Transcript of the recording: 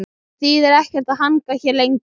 Það þýðir ekkert að hanga hérna lengur.